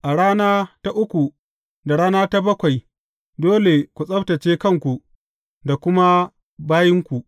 A rana ta uku da rana ta bakwai dole ku tsabtacce kanku da kuma bayinku.